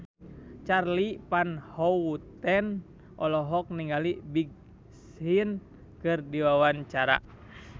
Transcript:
Charly Van Houten olohok ningali Big Sean keur diwawancara